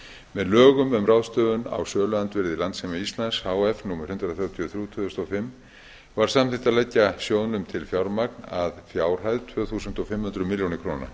með lögum um ráðstöfun á söluandvirði landssíma íslands h f númer hundrað þrjátíu og þrjú tvö þúsund og fimm var samþykkt að leggja sjóðnum til fjármagn að fjárhæð tvö þúsund fimm hundruð milljóna króna